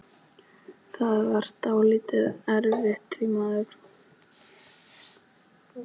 Það var dálítið erfitt því maðurinn keyrði ferlega hratt.